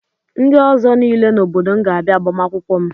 Ndị ọzọ niile n'obodo m ga-abịa agbamakwụkwọ m.